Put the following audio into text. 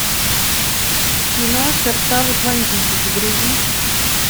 кино сердца в атлантиде загрузи